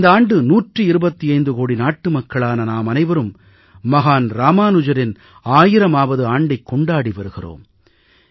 இந்த ஆண்டு 125 கோடி நாட்டு மக்களான நாமனைவரும் மகான் ராமானுஜரின் 1000வது ஆண்டைக் கொண்டாடி வருகிறோம்